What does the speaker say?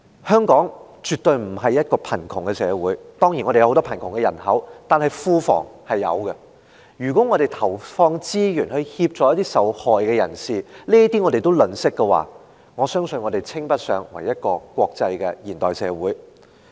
香港絕對不是貧窮社會——當然我們有很多貧窮人口，但庫房是有錢的——如果我們連投放資源協助受害人也吝嗇，我相信我們稱不上國際化的現代社會。